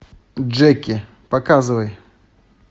джеки показывай